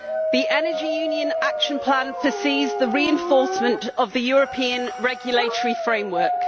The Energy Union Action Plan foresees the reinforcement of the European regulatory framework.